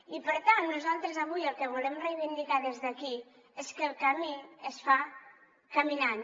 i per tant nosaltres avui el que volem reivindicar des d’aquí és que el camí es fa caminant